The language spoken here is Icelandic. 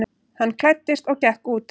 Hann klæddist og gekk út.